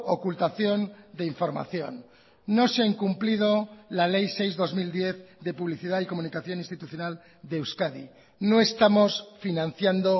ocultación de información no se ha incumplido la ley seis barra dos mil diez de publicidad y comunicación institucional de euskadi no estamos financiando